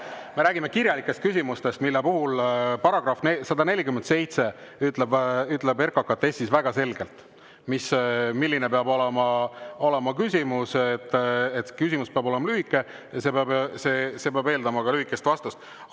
Me räägime kirjalikest küsimustest, mille kohta § 147 RKKTS‑is ütleb väga selgelt, et küsimus peab olema lühike ja see peab eeldama ka lühikest vastust.